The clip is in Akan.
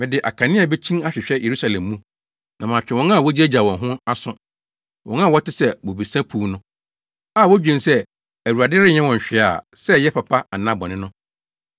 Mede akanea bekyin ahwehwɛ Yerusalem mu na matwe wɔn a wogyaagyaa wɔn ho aso, wɔn a wɔte sɛ bobesa puw no, a wodwen se, ‘ Awurade renyɛ hwee sɛ ɛyɛ papa anaa bɔne no.’